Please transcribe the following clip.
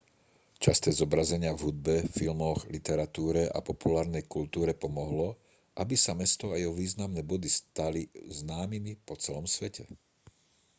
časté zobrazenia v hudbe filmoch literatúre a populárnej kultúre pomohlo aby sa mesto a jeho významné body stali známymi po celom svete